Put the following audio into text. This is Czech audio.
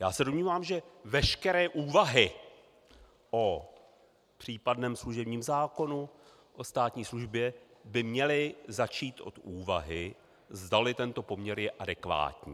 Já se domnívám, že veškeré úvahy o případném služebním zákonu, o státní službě, by měly začít od úvahy, zdali tento poměr je adekvátní.